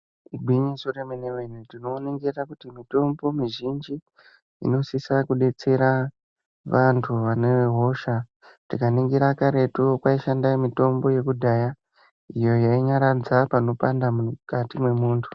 Igwinyiso re mene mene tino ningira kuti mitombo mizhinji ino sisa ku detsera vantu vane hosha tika ningira karetu kwai shanda mitombo yeku dhaya iyo yainyaradza pano panda mukati mwe muntu.